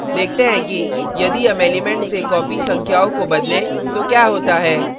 देखते हैं कि यदि हम elements से copied संख्याओं को बदलें तो क्या होता है